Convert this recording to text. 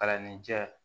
Kalanden jɛ